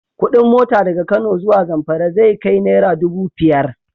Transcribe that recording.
Kuɗin mota daga Kano zuwa Zamfara zai kai naira dubu fiyar.